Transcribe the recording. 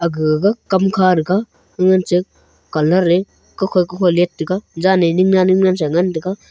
gag kam kha thaga gag nganche colour eh kukhoi kukhoi let taga jaan ne ning nan ning nan sa ngan taga.